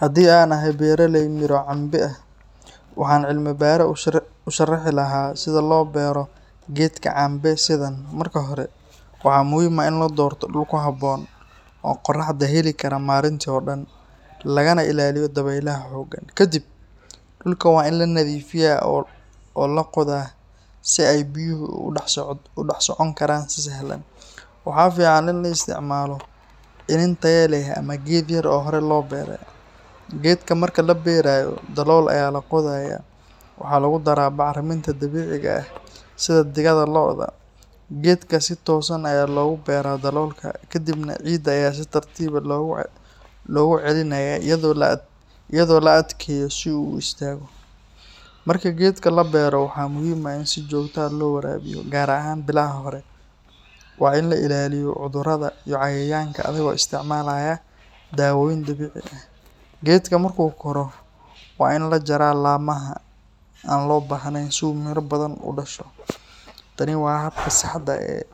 Haddii aan ahay beeraley miro cambe ah, waxaan cilmi-baare u sharixi lahaa sida loo beero geedka cambe sidan: Marka hore, waxaa muhiim ah in la doorto dhul ku habboon oo qorraxda heli kara maalintii oo dhan, lagana ilaaliyo dabaylaha xooggan. Kadib, dhulka waa in la nadiifiyaa oo la qodayaa si ay biyuhu ugu dhex socon karaan si sahlan. Waxaa fiican in la isticmaalo iniin tayo leh ama geed yar oo hore loo beero. Geedka marka la beeraayo, dalool ayaa la qodayaa, waxaa lagu daraa bacriminta dabiiciga ah sida digada lo’da. Geedka si toosan ayaa loogu beeraa daloolka, kadibna ciidda ayaa si tartiib ah loogu celinayaa iyadoo la adkeeyo si uu u istaago. Marka geedka la beero, waxaa muhiim ah in si joogto ah loo waraabiyo, gaar ahaan bilaha hore. Waa in la ilaaliyo cudurrada iyo cayayaanka adigoo isticmaalaya daawooyin dabiici ah. Geedka markuu koro, waa in la jaraa laamaha aan loo baahnayn si uu miro badan u dhasho. Tani waa habka saxda ah ee